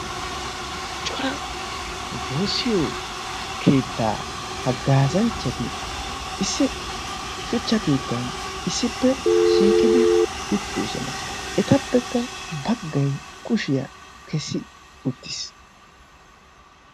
Cora woosiyo keettaa haggaasanchchati issi shuchcha kiittan issippe shiiqidi uttidosona. etappekka baggay kushiyaa kessi uttiis.